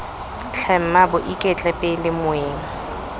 tlhe mmaabo iketle pele moeng